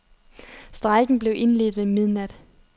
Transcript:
Strejken blev indledt ved midnat.